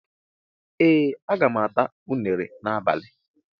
Ee, aga m ata unere n'abalị